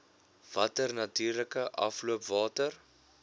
water natuurlike afloopwater